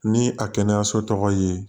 Ni a kɛnɛyaso tɔgɔ ye